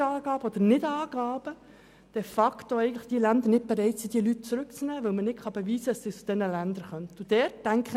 Wegen Falsch- oder Nichtangaben sind die entsprechenden Länder nicht bereit, die betreffenden Personen zurückzunehmen, weil man deren Herkunft aus diesen Ländern nicht beweisen kann.